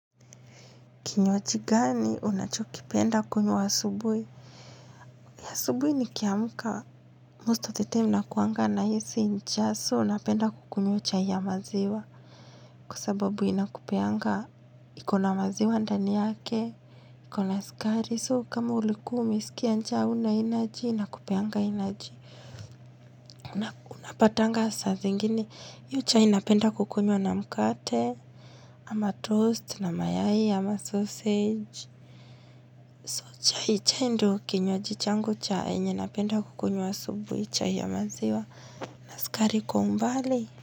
Kinywaji gani unachokipenda kunywa asubui nikiamuka. Most of the time nakuanga nahisi njaa so napenda kukunywa chai ya maziwa. Kwa sababu inakupeanga iko na maziwa ndani yake. Iko na sukari so kama ulikuwa umeskia njaa hauna energy inakupeanga energy. Unapatanga saa zingine hio chai napenda kukunywa na mkate. Ama toast na mayai ama sausage. So chai ndio kinywaji changu cha yenye napenda kukunywa asubuhi chai ya maziwa na sukari kwa umbali.